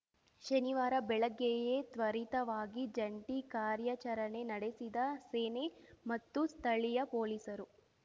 ಶನಿವಾರ ಬೆಳಗ್ಗೆಯೇ ತ್ವರಿತವಾಗಿ ಜಂಟಿ ಕಾರ್ಯಾಚರಣೆ ನಡೆಸಿದ ಸೇನೆ ಮತ್ತು ಸ್ಥಳೀಯ ಪೊಲೀಸರು